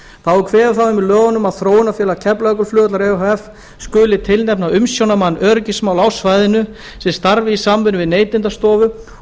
þá er kveðið á um það í lögunum að þróunarfélag keflavíkurflugvallar e h f skuli tilnefna umsjónarmann öryggismála á svæðinu sem starfi í samvinnu við neytendastofu